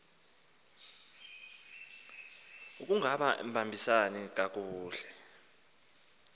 akungaba mbisani kakuhle